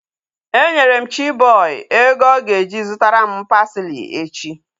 E nyere m Chiboy ego ọ ga-eji zụtara m parsley echi